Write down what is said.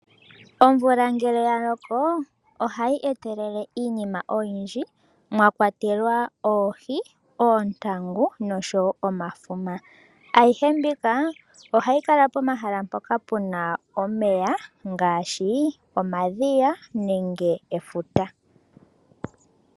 Omvula ngele ya loko, oha yi etelele iinima oyindji mwa kwatelwa, oohi, oontangu osho woo omafuma. Ayihe mbika oha yi kala pomahala mpoka puna omeya, ngaashi omadhiya, nenge efuta.